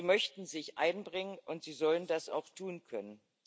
Sie möchten sich einbringen, und sie sollen das auch tun können.